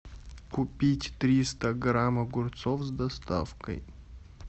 купить триста грамм огурцов с доставкой